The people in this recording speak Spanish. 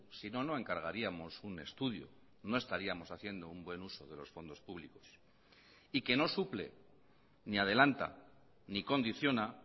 sino no encargaríamos un estudio no estaríamos haciendo un buen uso de los fondos públicos y que no suple ni adelanta ni condiciona